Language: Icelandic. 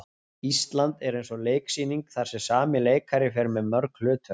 Ísland er eins og leiksýning þar sem sami leikari fer með mörg hlutverk.